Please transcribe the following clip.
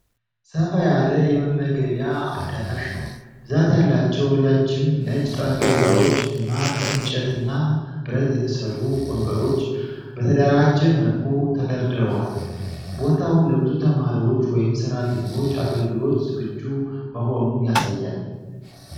ሰፋ ያለ የመመገቢያ አዳራሽ ነው፣ ብዛት ያላቸው ረጃጅም ነጭ ጠረጴዛዎች እና ከእንጨትና ብረት የተሠሩ ወንበሮች በተደራጀ መልኩ ተደርድረዋል። ቦታው ለብዙ ተማሪዎች ወይም ሰራተኞች አገልግሎት ዝግጁ መሆኑን ያሳያል።